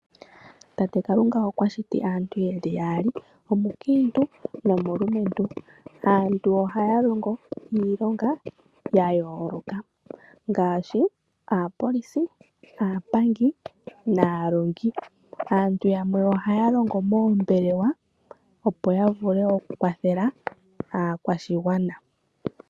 Peshito Kalunga okwa shiti aantu ye li yali, omulumentu nomukintu. Aantu oha ya longo iilonga ya yolokathana ngashi oku longa muupolisi, oshowo moombelewa opo ya vule oku kwathela aakwashigwana.